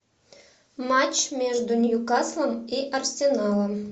матч между ньюкаслом и арсеналом